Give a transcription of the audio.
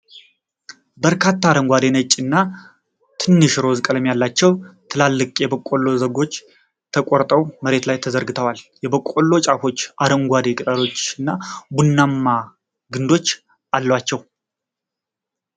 በርካታ አረንጓዴ፣ ነጭ እና ትንሽ ሮዝ ቀለም ያላቸው ትላልቅ የበቆሎ ዛጎሎች ተቆርጠው መሬት ላይ ተዘርግተዋል። የበቆሎዎቹ ጫፎች አረንጓዴ ቅጠሎችና ቡናማ ግንዶች አሏቸው።